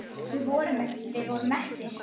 Við vorum mettir.